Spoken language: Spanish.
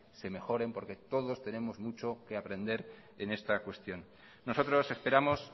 se mejoren porque todos tenemos muchos que aprender en esta cuestión nosotros esperamos